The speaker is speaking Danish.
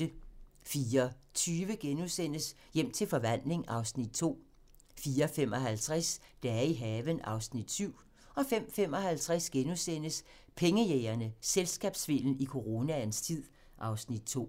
04:20: Hjem til forvandling (Afs. 2)* 04:55: Dage i haven (Afs. 7) 05:55: Pengejægerne - Selskabssvindel i coronaens tid (Afs. 2)*